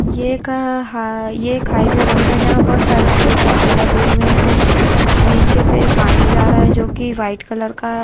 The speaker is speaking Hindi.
एक हाईवे रोड है जहां पर बहुत सारे पेड़ पौधे लगे हुए हैं नीचे से पानी जा रहा है जो की वाइट कलर का--